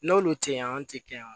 N'olu tɛ yan anw tɛ kɛ yan